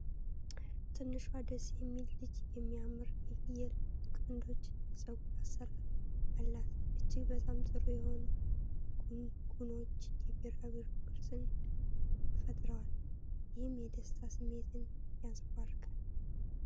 ትንሿ ደስ የሚል ልጅ የሚያምር የፍየል ቀንዶች የፀጉር አሠራር አላት። እጅግ በጣም ጥሩ የሆኑ ጉንጉኖች የቢራቢሮ ቅርጽን ፈጥረዋል፣ ይህም የደስታ ስሜትን ያንፀባርቃል።